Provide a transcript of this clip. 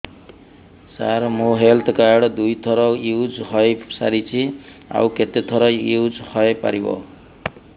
ସାର ମୋ health card ଦୁଇ ଥର ୟୁଜ଼ ହୈ ସାରିଛି ଆଉ କେତେ ଥର ୟୁଜ଼ ହୈ ପାରିବ